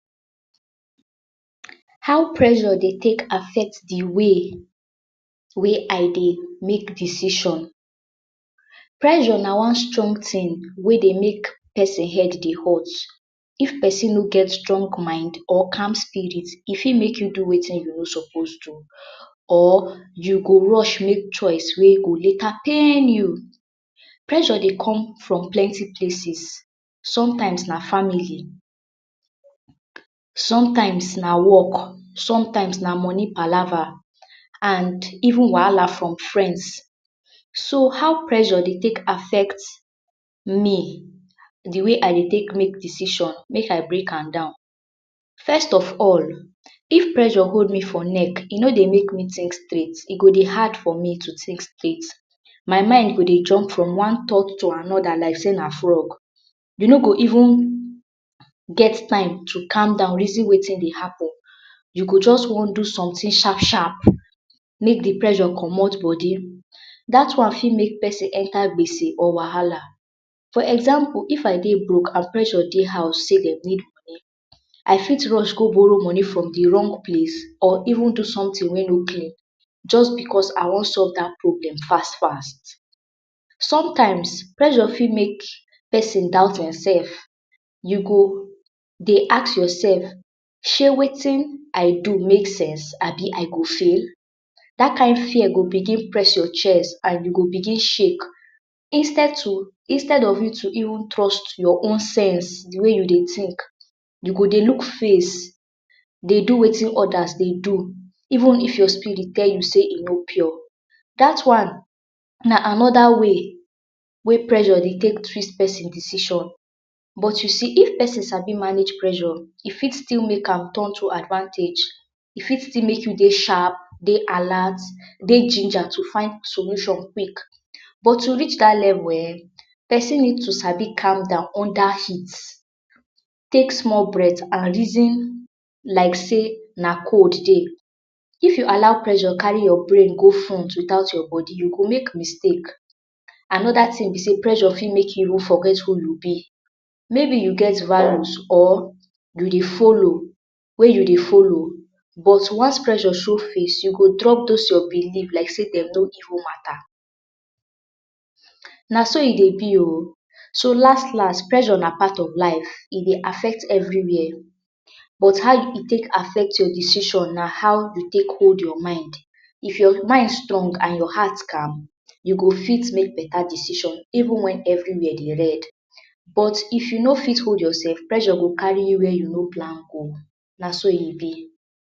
How pressure dey take affect de way wey I dey make decision? Pressure na one strong thing wey dey make persin head hurt. If persin no get strong mind or calm spirit, e fit make you do wetin you no suppose do or you go rush make choice wey go later pain you. Pressure dey come from plenty places - sometimes na family, sometimes na work, sometimes na money palaver, and even wahala from friends. So, how pressure dey take affect me? De way I dey take make decision make I break am down. First of all, if pressure hold me for neck, e no dey make me think straight e go dey hard for me to think straight. My mind go dey jump from one thought to anoda like sey na frog. You no go even get time to calm down reason wetin dey happen. You go just want do sometin sharp sharp make de pressure comot body. Dat one fit make persin enter gbese or wahala. For example, if I dey broke and pressure dey house sey dey need money, I fit rush go borrow money from de wrong place or even do sometin wey no clean just because I want solve dat problem fast fast. Sometimes pressure fit make persin doubt himself. You go dey ask yourself, shey wetin I do make sense? abi I go fail? Dat kind fear go begin press your chest, and you go begin shake. Instead to instead of you to even trust your own sense, de way you dey think, you go dey look face, dey do wetin odas dey do, even if your spirit tell you sey e no pure. Dat one na anoda way pressure dey take twist persin decision. But you see, if persin sabi manage pressure, e fit make am turn to advantage. E fit still make you dey sharp, dey alert, dey ginger to find solution quick. But to reach dat level um, persin need to sabi calm down under heat, take small breath, and reason like sey na cold dey. If you allow pressure carry your brain go front without your body, you go make mistake. Anoda thing be sey pressure fit make you forget who you be. Maybe you get values or you dey follow wey you dey follow, but once pressure show face, you go drop dos your beliefs like sey dem no even matter. Na so e dey be oh. So last last ressure na part of life, e dey affect everywhere. But how e take affect your decision na how you take hold your mind. If your mind strong and your heart calm, you go fit make beta decision even when everywhere dey red. But if you no fit hold yourself, pressure go carry you where you no plan go naso e be.